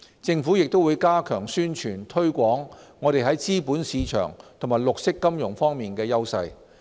政府也會加強宣傳推廣我們在資本市場和綠色金融方面的優勢。